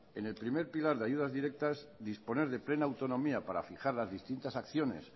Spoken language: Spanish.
en el primer pilar de ayudas directas disponer de plena autonomía para fijar las distintas acciones